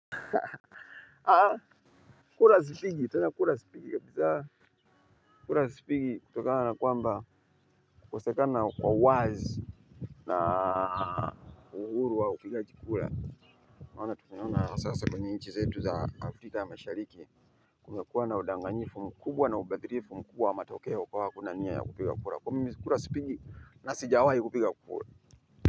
Kura sipigi tena kura sipigi kabisa sipigi kutokana na kwamba kukosekana kwa uwazi na kwa uhuru wa upigaji kura. Naona tunayaona sasa kwenye nchi zetu za afrika mashariki kumekuwa na udanganyifu mkubwa na ubadilifu mkubwa wa matokeo kwa kuna nia ya kupiga kura. Kwa hiyo mimi kura sipigi na sijawai kupiga kura.